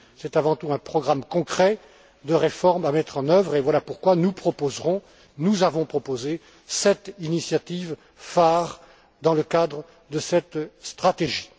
C'est avant tout un programme concret de réformes à mettre en œuvre et voilà pourquoi nous proposons sept initiatives phares dans le cadre de cette stratégie.